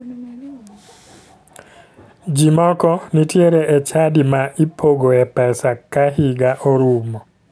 Ji moko nitiere e chadi ma ipogoe pesa ka higa orumo